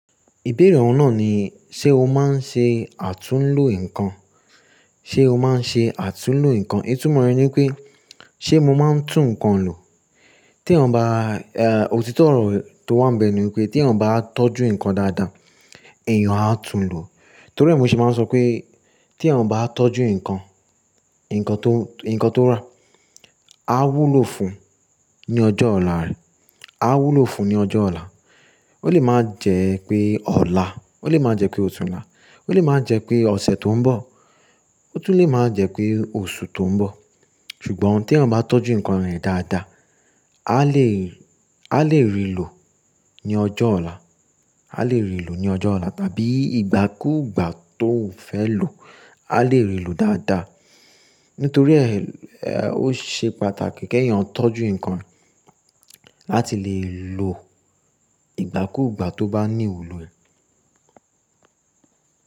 Ìbéèrè ọ̀hún náà ni, ṣe o máa ń ṣe àtúnlo nǹkan? Ṣe o máa ń ṣe àtúnlo nǹkan? Ìtumọ̀ rẹ̀ ni pé, ṣe mo máa ń tún nǹkan lò? Téèyàn bá, òtítọ́ ọ̀rọ̀ tó wà ńbẹ̀ ni wípé téèyàn bá tọ́jú nǹkan dáadáa, èèyàn á tun lò. Torí ẹ̀ mo ṣe máa ń sọ pé téèyàn bá tọ́jú nǹkan, nǹkan tó, nǹkan tó rà, á wúlò fún un ní ọjọ́ ọ̀la rẹ̀, á wúlò fún un ní ọjọ́ ọ̀la. Ó lè má jẹ́ pé ọ̀la, ó lè má jẹ́ pé ọ̀túnla, ó lè má jẹ́ pé ọ̀sẹ̀ tó ń bọ̀, ó tún lè má jẹ́ pé oṣù tó ń bọ̀. Ṣùgbọ́n téèyàn bá tọ́jú nǹkan rẹ̀ dáadáa, áá lè, áá lè ri lò ní ọjọ́ ọ̀la, áá lè ri lò ní ọjọ́ ọ̀la, tàbí ìgbàkúùgbà tóun fẹ́ lò ó, áá lè ri lò dáadáa. Nítorí ẹ̀, ó ṣe pàtàkì kéèyàn tọ́jú nǹkan láti lè lò ìgbàkúùgbà tó bá níwúlò ẹ̀.